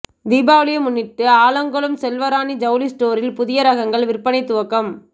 தீபாவளியை முன்னிட்டு ஆலங்குளம் செல்வராணி ஜவுளி ஸ்டோரில் புதிய ரகங்கள் விற்பனை துவக்கம்